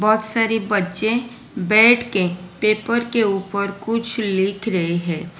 बहुत सारे बच्चे बैठ के पेपर के ऊपर कुछ लिख रहे है।